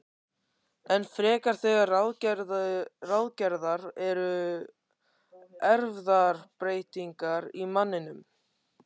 Enn frekar þegar ráðgerðar eru erfðabreytingar á manninum.